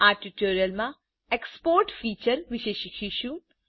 આ ટ્યુટોરીયલમાં એક્સપોર્ટ featureવિષે શીખીશું